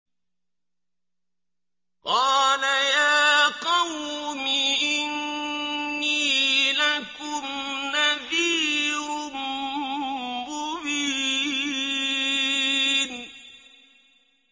قَالَ يَا قَوْمِ إِنِّي لَكُمْ نَذِيرٌ مُّبِينٌ